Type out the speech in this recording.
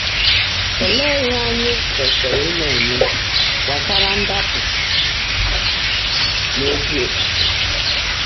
Olee ihe anyị kwesịrị ịna-eme gbasara ndapụ n’ezi ofufe?